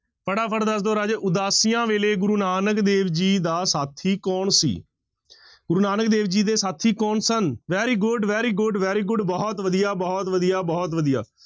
ਫਟਾਫਟ ਦੱਸ ਦਓ ਰਾਜੇ ਉਦਾਸੀਆਂ ਵੇਲੇ ਗੁਰੂ ਨਾਨਕ ਦੇਵ ਜੀ ਦਾ ਸਾਥੀ ਕੌਣ ਸੀ, ਗੁਰੂ ਨਾਨਕ ਦੇਵ ਜੀ ਦੇ ਸਾਥੀ ਕੌਣ ਸਨ very good, very good, very good ਬਹੁਤ ਵਧੀਆ, ਬਹੁਤ ਵਧੀਆ, ਬਹੁਤ ਵਧੀਆ।